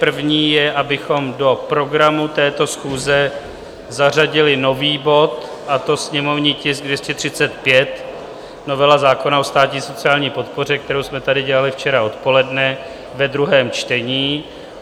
První je, abychom do programu této schůze zařadili nový bod, a to sněmovní tisk 235, novela zákona o státní sociální podpoře, kterou jsme tady dělali včera odpoledne ve druhém čtení.